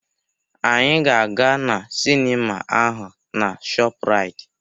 Anyị ga-aga na sinima ahụ na Shọpuraiti.